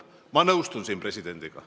" Ma nõustun siin presidendiga.